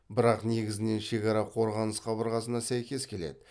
бірақ негізінен шекара қорғаныс қабырғасына сәйкес келеді